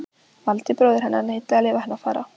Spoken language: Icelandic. Valdi, bróðir hennar, neitaði að leyfa henni að fara.